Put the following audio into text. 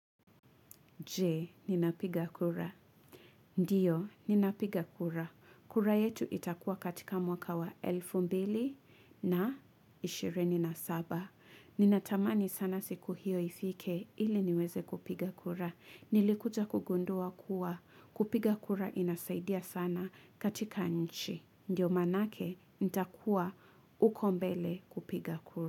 Je, ninapiga kura. Ndiyo, ninapiga kura. Kura yetu itakuwa katika mwaka wa elfu mbili na ishirini na saba. Ninatamani sana siku hiyo ifike ili niweze kupiga kura. Nilikuja kugundua kuwa. Kupiga kura inasaidia sana katika nchi. Ndiyo manake, nitakuwa huko mbele kupiga kura.